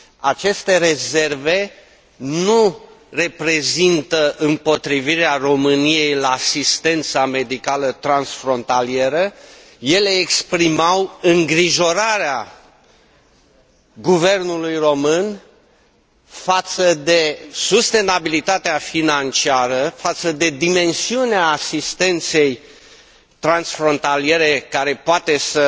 Aceste rezerve nu reprezintă împotrivirea României la asistența medicală transfrontalieră, ele exprimau îngrijorarea guvernului român față de sustenabilitatea financiară, față de dimensiunea asistenței transfrontaliere, pe care poate să